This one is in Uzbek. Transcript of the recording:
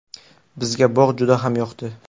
Bizga bog‘ juda ham yoqdi.